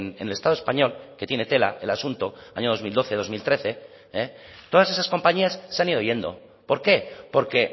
en el estado español que tiene tela el asunto año dos mil doce dos mil trece todas esas compañías se han ido yendo por qué porque